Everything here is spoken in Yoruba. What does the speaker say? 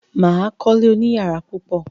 Mà á kọ́lé oníyàrá púpọ̀.